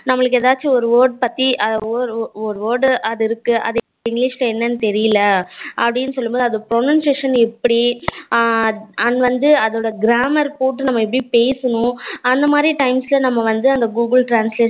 நம்மளுக்கு ஏதாச்சும் ஒரு word பத்தி ஒரு word அது இருக்கு அது english ல எண்ணனு தெரியல அப்படினு சொல்லும்போது அத pronunciation எப்படி ஹம் அது வந்து அதோட grammar போட்டு நம்ம எப்படி பேசணும் அந்த மாதிரி time ல வந்து அந்த google translate